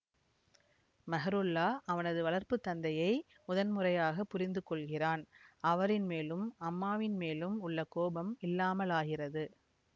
மெஹ்ருல்லா அவனது வளர்ப்பு தந்தையை முதன்முறையாகப் புரிந்து கொள்கிறான் அவரின் மேலும் அம்மாவின் மேலும் உள்ள கோபம் இல்லாமலாகிறது